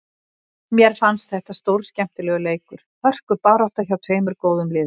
Mér fannst þetta stórskemmtilegur leikur, hörkubarátta, hjá tveimur góðum liðum.